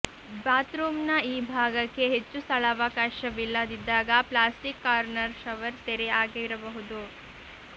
ಬಾತ್ರೂಮ್ನ ಈ ಭಾಗಕ್ಕೆ ಹೆಚ್ಚು ಸ್ಥಳಾವಕಾಶವಿಲ್ಲದಿದ್ದಾಗ ಪ್ಲ್ಯಾಸ್ಟಿಕ್ ಕಾರ್ನರ್ ಷವರ್ ತೆರೆ ಆಗಿರಬಹುದು